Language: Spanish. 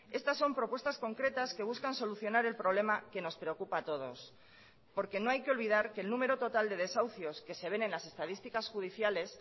estas son propuestas concretas que buscan solucionar el problema que nos preocupa a todos porque no hay que olvidar que el número total de desahucios que se ven en las estadísticas judiciales